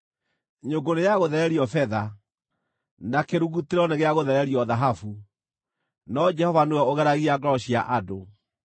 Nyũngũ nĩ ya gũthererio betha, na kĩrugutĩro nĩ gĩa gũthererio thahabu, no Jehova nĩwe ũgeragia ngoro cia andũ.